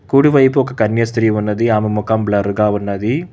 కుడివైపు ఒక కన్య స్త్రీ ఉన్నది ఆమె మొఖం బ్లర్ గా ఉన్నది.